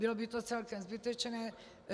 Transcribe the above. Bylo by to celkem zbytečné.